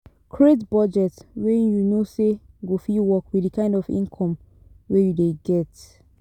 Create budget wey you know say go fit work with the kind of income wey you dey get